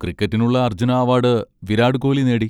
ക്രിക്കറ്റിനുള്ള Arjuna award Virat Kohli നേടി.